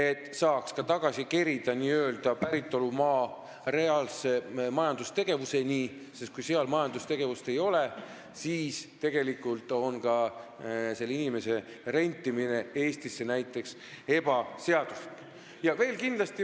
Nii saame n-ö tagasi kerida inimese päritolumaa reaalse majandustegevuseni: kui seal majandustegevust ei ole, siis on ka selle inimese rentimine Eestisse tegelikult ebaseaduslik.